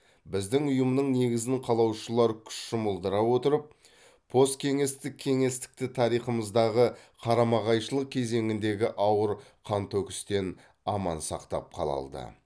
біздің ұйымның негізін қалаушылар күш жұмылдыра отырып посткеңестік кеңістікті тарихымыздағы қарама қайшылық кезеңіндегі ауыр қантөгістен аман сақтап қала алды